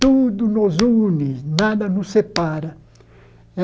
Tudo nos une, nada nos separa.